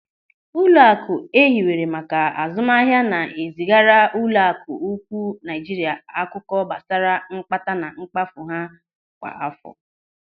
Ụlọaku ehiwere maka azụmahịa na-ezigara Ụlọaku Ukwuu Naijiria akụkọ gbasara mkpata na mkpafu ha kwa àfọ.